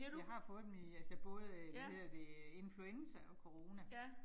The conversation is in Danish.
Jeg har fået dem i altså både hvad hedder det influenza og corona